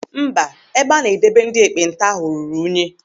Mba, ebe a na-edebe ndị ekpenta ahụ ruru unyi.